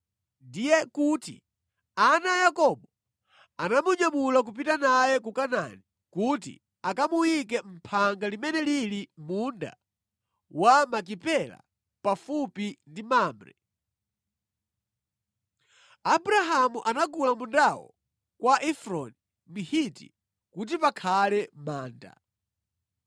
Ndiye kuti ana a Yakobo anamunyamula kupita naye ku Kanaani kuti akamuyike mʼphanga limene lili mʼmunda wa Makipela pafupi ndi Mamre. Abrahamu anagula mundawo kwa Efroni Mhiti kuti pakhale manda.